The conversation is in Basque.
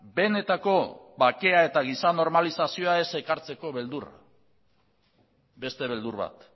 benetako bakea eta giza normalizazioa ez ekartzeko beldurra beste beldur bat